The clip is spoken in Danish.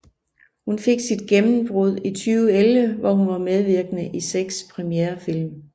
Hun fik sit gennembrud i 2011 hvor hun var medvirkende i seks premierefilm